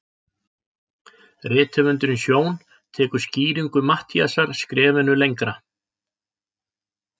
Rithöfundurinn Sjón tekur skýringu Matthíasar skrefinu lengra.